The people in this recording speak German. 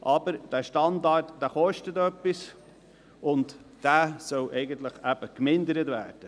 Aber dieser Standard kostet etwas, und er soll eigentlich eben gemindert werden.